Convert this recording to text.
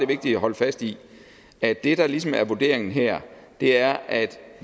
vigtigt at holde fast i at det der ligesom er vurderingen her er at